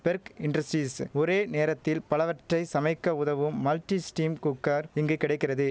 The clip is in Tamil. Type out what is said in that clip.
பெர்க் இன்டர்ஸ்ட்ரீஸ் ஒரே நேரத்தில் பலவற்றை சமைக்க உதவும் மல்டி ஸ்டீம் குக்கர் இங்கு கிடைக்கிறது